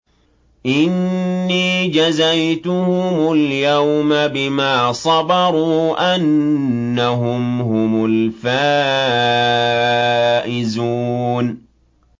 إِنِّي جَزَيْتُهُمُ الْيَوْمَ بِمَا صَبَرُوا أَنَّهُمْ هُمُ الْفَائِزُونَ